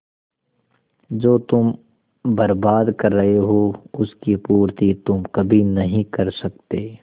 जो तुम बर्बाद कर रहे हो उसकी पूर्ति तुम कभी नहीं कर सकते